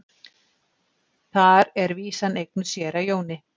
Þar er vísan eignuð séra Jóni.